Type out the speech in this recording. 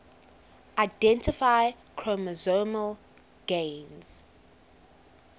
identify chromosomal gains